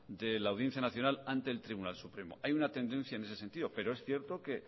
de la audiencia nacional ante el tribunal supremo hay una tendencia en ese sentido pero es cierto que